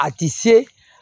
A ti se